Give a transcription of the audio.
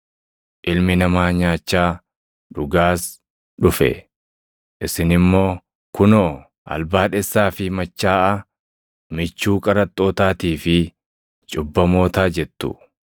Ilmi Namaa nyaachaa, dhugaas dhufe; isin immoo, ‘Kunoo albaadhessaa fi machaaʼaa, michuu qaraxxootaatii fi cubbamootaa’ jettu.